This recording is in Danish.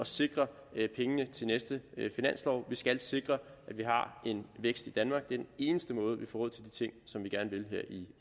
sikre pengene til næste finanslov vi skal sikre at vi har en vækst i danmark det er den eneste måde vi får råd til de ting som vi gerne vil her i